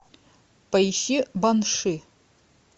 поищи банши